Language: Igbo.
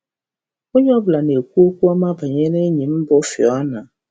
Onye ọ bụla na-ekwu okwu ọma banyere ènyì m bụ́ Fiona